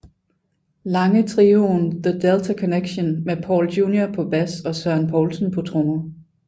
Lange trioen The Delta Connection med Paul Junior på bas og Søren Poulsen på trommer